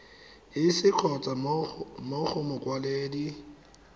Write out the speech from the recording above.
iss kgotsa mo go mokwaledi